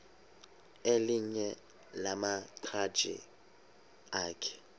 elinye lamaqhaji akhe